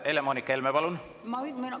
Helle-Moonika Helme, palun!